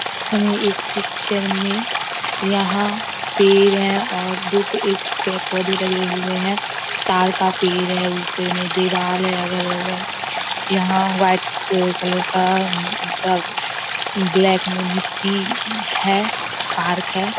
हमें इस पिक्चर में यहाँ पेड़ है और दो पे एक पेड़ पौधे लगे हुए हैं ताड़ का पेड़ है ऊपर में दीवाल है अगल-बगल यहाँ व्हाइट कल कलर का थोड़ा उम्म ब्लैक में मिट्टी है पार्क है ।